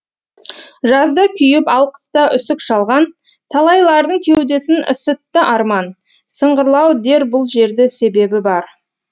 жазда күйіп ал қыста үсік шалған талайлардың кеудесін ысытты арман сыңғырлау дер бұл жерді себебі бар